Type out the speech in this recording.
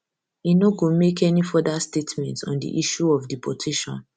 e no go make any further statement on di issue of deportation